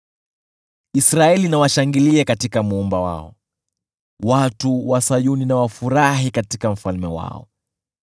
Israeli na washangilie katika Muumba wao, watu wa Sayuni na wafurahi katika Mfalme wao.